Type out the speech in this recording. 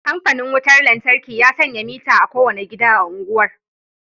Kamfanin wutar lantarki ya sanya mitter a kowane gida a unguwar